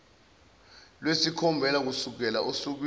lwesikhombisa kusukela osukwini